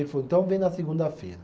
Ele falou, então vem na segunda-feira.